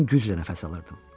Mən güclə nəfəs alırdım.